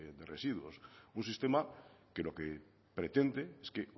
de residuos un sistema que lo que pretende es que